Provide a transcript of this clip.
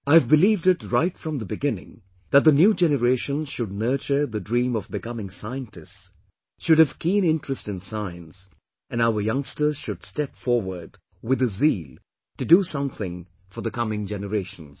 I have believed it right from the beginning that the new generation should nurture the dream of becoming scientists, should have keen interest in Science, and our youngsters should step forward with the zeal to do something for the coming generations